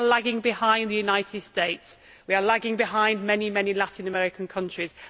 We are lagging behind the United States. We are lagging behind many Latin American countries.